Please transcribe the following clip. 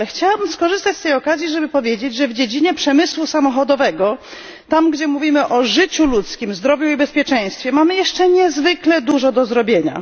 Ale chciałabym skorzystać z tej okazji, aby powiedzieć, że w dziedzinie przemysłu samochodowego, tam, gdzie mówimy o życiu ludzkim, zdrowiu i bezpieczeństwie, mamy jeszcze niezwykle dużo do zrobienia.